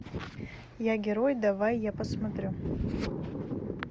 я герой давай я посмотрю